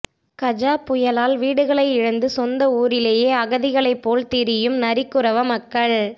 கஜா புயலால் வீடுகளை இழந்து சொந்த ஊரிலேயே அகதிகளைப் போல திரியும் நரிக்குறவ மக்கள்